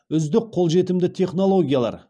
үздік қолжетімді технологиялар